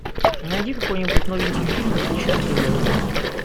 найди какой нибудь новенький фильм и включи на тв